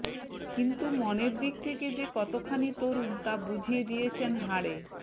কিন্তু মনের দিক থেকে যে কতখানি তরুণ তা বুঝিয়ে দিয়েছেন হাড়ে